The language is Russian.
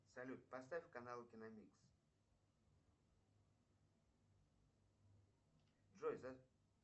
салют поставь канал киномикс джой